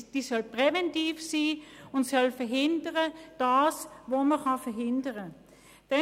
Sie soll präventiv wirken und verhindern, was man verhindern kann.